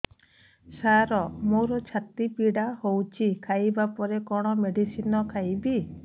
ସାର ମୋର ଛାତି ପୀଡା ହଉଚି ଖାଇବା ପରେ କଣ ମେଡିସିନ ଖାଇବି